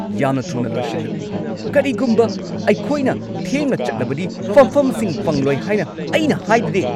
ꯌꯥꯝꯅ ꯊꯨꯅ ꯂꯣꯏꯁꯤꯜꯂꯣ! ꯀꯔꯤꯒꯨꯝꯕ ꯑꯩꯈꯣꯏꯅ ꯊꯦꯡꯅ ꯆꯠꯂꯕꯗꯤ ꯐꯝꯐꯝꯁꯤꯡ ꯐꯪꯂꯣꯏ ꯍꯥꯏꯅ ꯑꯩꯅ ꯍꯥꯏꯗꯨꯗꯤ꯫